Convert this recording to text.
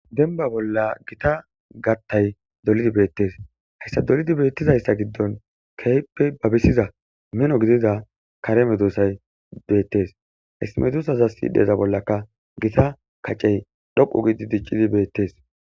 Denba bola gita matay dolidi betes haysa dolidi betizaysa giddon kehippe babisiza mino gidiza kare medosay betes hesi medosaza sidheza bolaka gita kac'ey dhoqu gidi dic'idi betes.